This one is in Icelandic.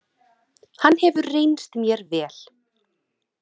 Hann hefur reynst mér vel.